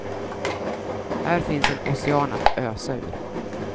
Här finns en ocean att ösa ur.